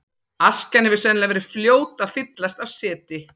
Askjan hefur sennilega verið fljót að fyllast af seti.